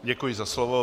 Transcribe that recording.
Děkuji za slovo.